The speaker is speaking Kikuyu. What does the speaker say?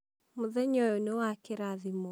mũthenya ũyũ nĩ wa kĩrathimo